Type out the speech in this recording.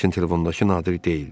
Lakin telefondakı Nadir deyildi.